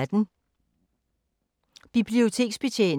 Biblioteksbetjening